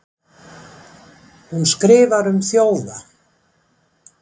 hún skrifar um þjófa